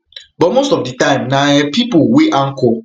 but most of di time na um pipo wey anchor